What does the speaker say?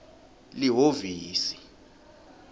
lihhovisi